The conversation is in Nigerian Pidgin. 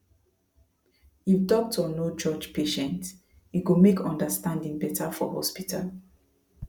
if doctor no judge patient e go make understanding better for hospital